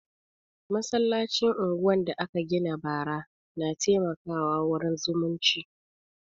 Masallacin unguwan da aka gina bara na taimaka wa wurin zumunci